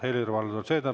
Helir-Valdor Seeder, palun!